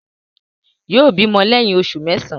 Yóò bímọ lẹ́yìn oṣù mẹ́sàán.